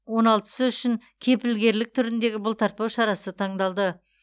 он алтысы үшін кепілгерлік түріндегі бұлтартпау шарасы таңдалды